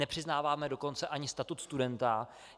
Nepřiznáváme dokonce ani statut studenta.